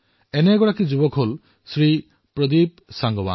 এনে এক যুৱক হল শ্ৰীমান প্ৰদীপ সাংগৱান